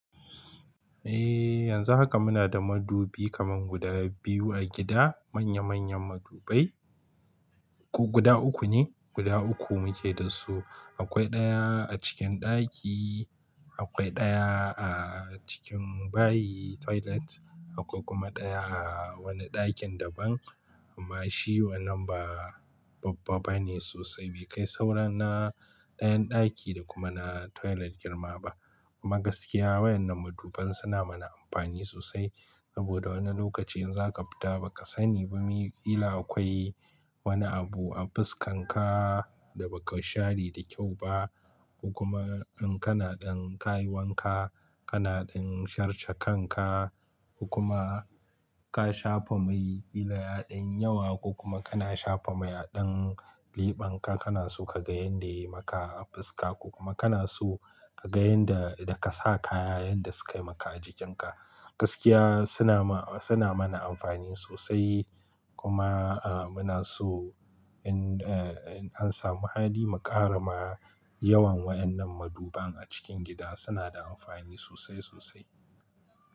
Eh, yanzu haka muna da madubi kaman guda biyu a gida, manya manyan madubai. Ko guda uku ne, guda uku muke dasu. Akwai ɗaya a cikin ɗaki, akwai ɗaya a cikin bayi toilet, akwai kuma ɗaya a wani ɗakin daban. Amma shi wannan ba babba bane sosai bai kai sauran na ɗayan ɗaki da kuma na toilet girma ba. Amma gaskiya waɗannan maduban suna mana amfani sosai. Sboda wani lokaci in zaka fita ba ka sani ba kila akwai wani abu a fuskan ka da ba ka share da kyau ba. Ko kuma in kana ɗan kayi wanka, kana ɗan sharshe kan ka, ko kuma ka shafa mai kila ya ɗan yi yawa ko kuma kana shafa mai a ɗan leɓen ka, kana so ka ga yanda yayi maka a fuska ko kuma kana so ka ga yanda idan ka sa kaya yanda sukayi maka a jikin ka. Gaskiya suna ma-- suna mana amfani sosai. Kuma muna so in an samu hadi mu ƙara ma yawan waɗannan maduban a cikin gida suna da amfani sosai sosai.